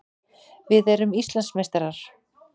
Við erum Íslandsmeistarar!